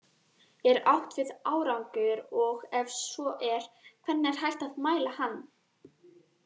Er átt við árangur, og ef svo er, hvernig er hægt að mæla hann?